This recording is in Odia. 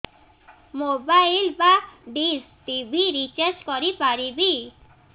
ମୋବାଇଲ୍ ବା ଡିସ୍ ଟିଭି ରିଚାର୍ଜ କରି ପାରିବି